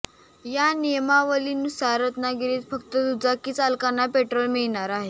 या नियमावलीनुसार रत्नागिरीत फक्त दुचाकी चालकांना पेट्रोल मिळणार आहे